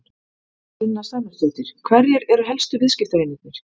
Sunna Sæmundsdóttir: Hverjir eru helstu viðskiptavinirnir?